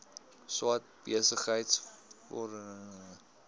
swart besigheidsforum speel